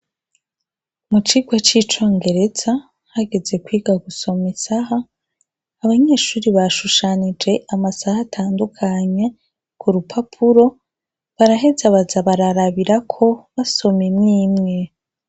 Mu cigwa c'Icongereza, hageze kwiga gusoma isaha, abanyeshure bashushanije amasaha atandukanye ku rupapuro, baraheza baza bararabirako, basoma imwe imwe.